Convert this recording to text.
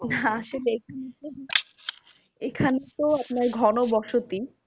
না আসলে এখানে তো এখানে তো আপনার ঘন বসতি।